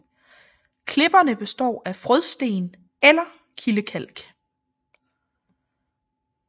Klipperne består af frådsten eller kildekalk